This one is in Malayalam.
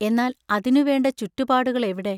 എന്നാൽ അതിനു വേണ്ട ചുറ്റുപാടുകൾ എവിടെ?